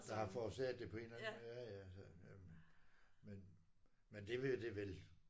Der har forårsaget det på en eller anden måde ja ja men men det vil jo det vil